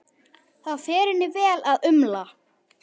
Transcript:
Það fer henni vel að umla.